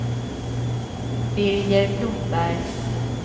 Birger Blomberg